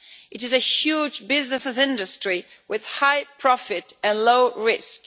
It is a huge business industry with high profit and low risk.